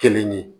Kelen ye